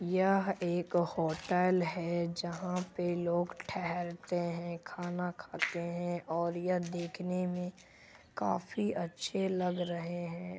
यह एक होटल है। जहां पे लोग ठहरते है खाना खाते है। और यह देखने मे काफी अच्छे लग रहे है।